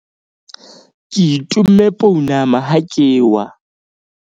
ke itomme pounama ha ke wa